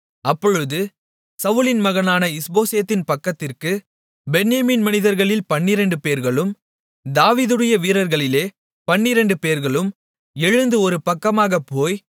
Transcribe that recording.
அப்பொழுது சவுலின் மகனான இஸ்போசேத்தின் பக்கத்திற்குப் பென்யமீன் மனிதர்களில் பன்னிரெண்டுபேர்களும் தாவீதுடைய வீரர்களிலே பன்னிரெண்டுபேர்களும் எழுந்து ஒரு பக்கமாகப் போய்